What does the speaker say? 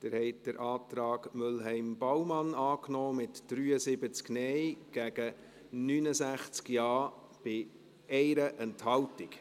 Sie haben den Antrag Mühlheim/Baumann angenommen, mit 73 Nein- gegen 69 Ja-Stimmen bei 1 Enthaltung.